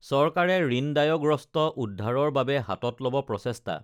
চৰকাৰে ঋণদায়গ্ৰস্ত উদ্ধাৰৰ বাবে হাতত লব প্ৰচেষ্টা